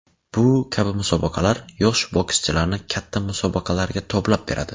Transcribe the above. Bu kabi musobaqalar yosh bokschilarni katta musobaqalarga toblab beradi.